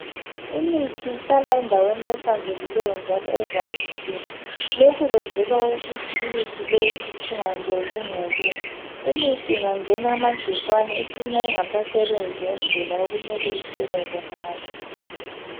Imithi ihlala endaweni ehlanzekileyo njalo evalekileyo lokhu kwenzelwa ukuthi imithi leyi ingangeni ingcekeza imithi ingangena amagcikwane icina ingasasebenzi ngendlela okumele isebenze ngayo